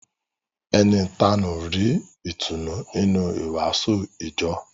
Ẹni ìtanú rí ìtùnú nínú ìwàásù ìjọ